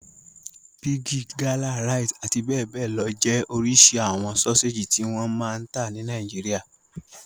Bigi, Gala, Rite àti bẹ́ẹ̀ bẹ́ẹ̀ lọ jẹ́ oríṣi àwọn sọ́séjì tí wọ́n máa ń ta ní Nàìjíríà.